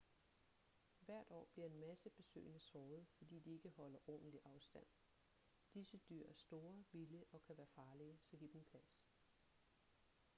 hvert år bliver en masse besøgende såret fordi de ikke holder ordentlig afstand disse dyr er store vilde og kan være farlige så giv dem plads